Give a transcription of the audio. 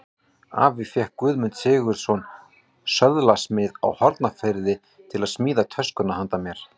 Afi fékk Guðmund Sigurðsson, söðlasmið á Hornafirði, til að smíða töskuna handa mér.